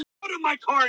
þó það beri ekki allt